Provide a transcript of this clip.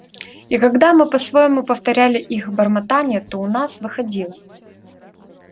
и когда мы по-своему повторяли их бормотанье то у нас выходило